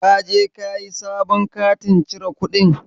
Ka je kayi sabon katin cire kuɗin?